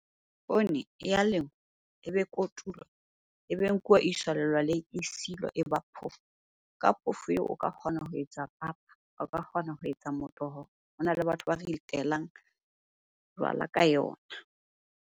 Poone e ya lengwa, ebe kotulwa, ebe nkuwa e iswa lelwaleng e silwa e ba phoofo. Ka phoofo eo o ka kgona ho etsa papa, o ka kgona ho etsa motoho. Hona le batho ba jwala ka yona.